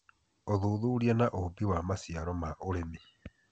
ũthuthuria na ũũmbi wa maciaro ma ũrĩmi